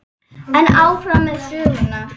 En áfram með söguna.